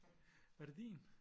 Var det din?